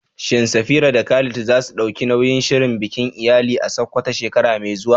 Shin Safira da Khalid za su ɗauki nauyin shirya bikin iyali a Sakkwato shekara mai zuwa?